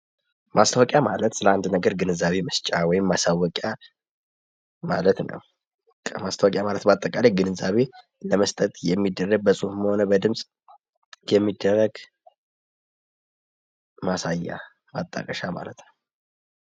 ማስታወቂያ ማለት ለአንድ ነገር ግንዛቤ መስጫ ወይም ማሳወቂያ ማለት ነው። በቃ ማስታወቂያ ማለት በአጠቃላይ ግንዛቤ ለመስጠት የሚደረግ በጽሑፍም ሆነ በድምፅ የሚደረግ ማሳያ ማጣቀሻ ማለት ነው።